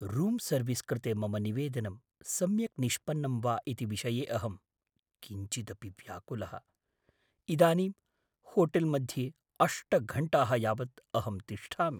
Room service कृते मम निवेदनं सम्यक् निष्पन्नम् वा इति विषये अहं किञ्चिदपि व्याकुलः, इदानीं होटेल्मध्ये अष्ट घण्टाः यावत् अहं तिष्ठामि।